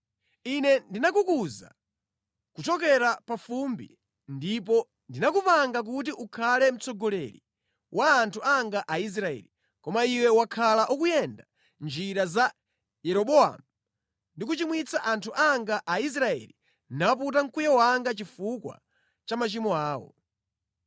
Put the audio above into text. “Ine ndinakukuza kuchokera pa fumbi ndipo ndinakupanga kuti ukhale mtsogoleri wa anthu anga Aisraeli, koma iwe wakhala ukuyenda mʼnjira za Yeroboamu ndi kuchimwitsa anthu anga Aisraeli naputa mkwiyo wanga chifukwa cha machimo awo.